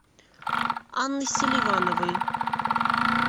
анны селивановой